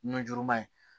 Nujuruman ye